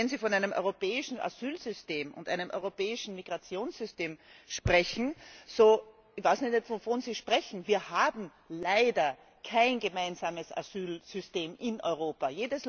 Und wenn Sie von einem europäischen Asylsystem und einem europäischen Migrationssystem sprechen ich weiß ja nicht, wovon Sie sprechen Wir haben leider kein gemeinsames Asylsystem in Europa.